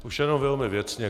Už jenom velmi věcně.